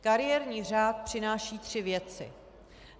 Kariérní řád přináší tři věci.